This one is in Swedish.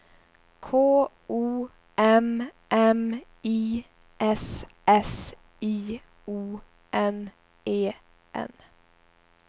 K O M M I S S I O N E N